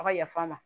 A ka yafa n ma